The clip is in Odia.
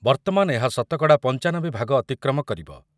ବର୍ତ୍ତମାନ ଏହା ଶତକଡ଼ା ପଂଚାନବେ ଭାଗ ଅତିକ୍ରମ କରିବ ।